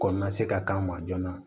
Ko na se ka k'an ma joona